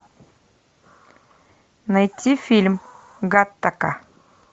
найти фильм гаттака